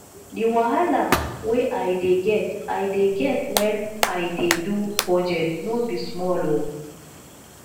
di wahala wey i dey get i dey get wen i dey do budget no be small o